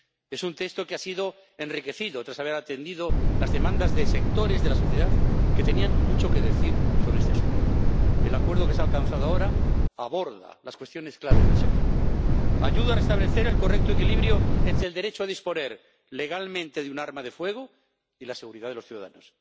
Es un texto que ha sido enriquecido tras haber atendido las demandas de sectores de la sociedad que tenían mucho que decir sobre este asunto. El acuerdo que se ha alcanzado ahora aborda las cuestiones clave del sector, ayuda a restablecer el correcto equilibrio entre el derecho a disponer legalmente de un arma de fuego y la seguridad de los ciudadanos.